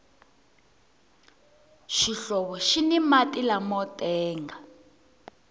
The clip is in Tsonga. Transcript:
xihlovo xini mati lamo tenga